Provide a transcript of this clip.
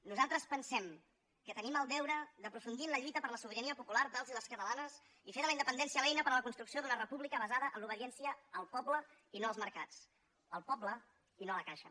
nosaltres pensem que tenim el deure d’aprofundir en la lluita per la sobirania popular dels i les catalanes i fer de la independència l’eina per a la construcció d’una república basada en l’obediència al poble i no als mercats al poble i no a la caixa